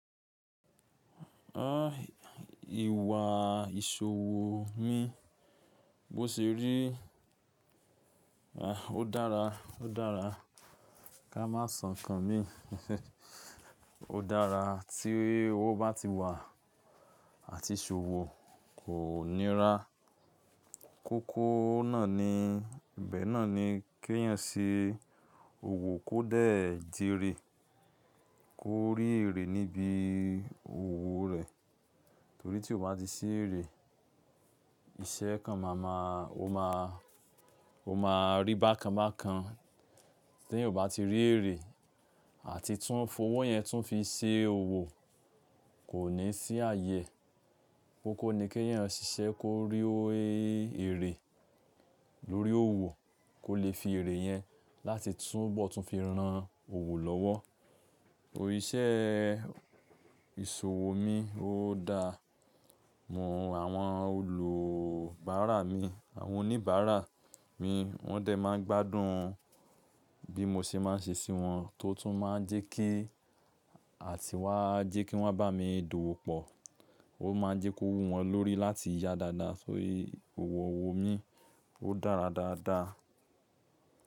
Ẹ́, ìwà ìṣòwò mi bó ṣe rí, ah, ó dára, ó dára. Ka má so nkan mi. Ó dára tí owó bá ti wà àti ìṣòwò kò nira. Kókó náà ni, ibẹ̀ náà ni kí ènìyàn ṣe òwò kó dẹ̀ jíire. Kó rí ère níbi òwò rẹ̀. Torí tí o bá ti ṣí ère, iṣẹ́ kan máa ma-- o máa, o máa rí bákan bákan. Tí ènìyàn ò bá ti rí ère àti tún fowó yẹn tún fi ṣe òwò, kò ní sí ààyè. Kókó ni kí ènìyàn ṣiṣẹ́ kó rí ó ère lórí òwò kó lè fi ère yẹn láti tún bọ̀ tún fi ran òwò lọ́wọ́. Óò, iṣẹ́ ìṣòwò mi ó dáa. Mò àwọn olùbárà mi, àwọn oníbàárà mi wọ́n dé máa ń gbádùn bí mo ṣe máa ń ṣe sí wọn tó tún máa ń jẹ́ kí, àti wá jẹ́ kí wọ́n bá mi dòwò pọ̀. Ó máa ń jẹ́ kó wú wọn lórí láti yá dáadáa. Só yẹ òwò owó mi ó dára dáadáa.